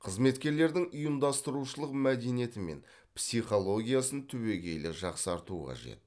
қызметкерлердің ұйымдастырушылық мәдениеті мен психологиясын түбегейлі жақсарту қажет